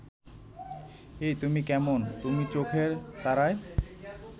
এ তুমি কেমন তুমি চোখের তারায়